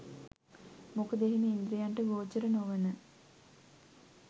මොකද එහෙම ඉන්ද්‍රියන්ට ගෝචර නොවන